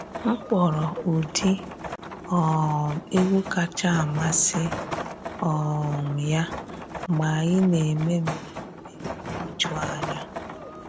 M kpọrọ ụdị um egwu kacha amasị um ya mgbe anyị na eme mmemme ijuanya.